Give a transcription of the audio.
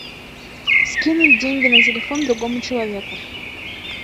скинуть деньги на телефон другому человеку